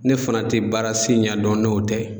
Ne fana tɛ baara si ɲɛdɔn n'o tɛ.